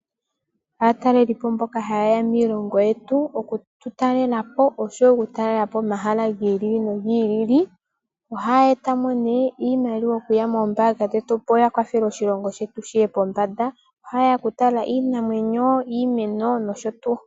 Aatalelipo mbono ha ya zi kiilongo yi ili no yi ili ha ye ya oku tu talelapo nosho woo okutalelapo omahala gi ili nogi ili ohaa eta iimaliwa moshilongo. Iimaliwa mbino ohayi yambulapo eliko lyoshilongo opo lyiye pombanda. Oha ye ya okutala iiyamakuti ,iimeno nosho tuu.